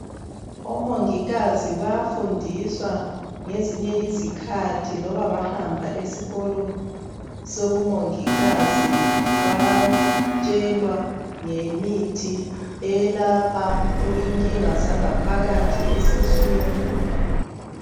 Omongikazi bafundiswa ngezinye izikhathi loba bahamba esikolo sobumongikazi. Bayatshelwa ngemithi elapha inkinga zangaphakathi esiswini.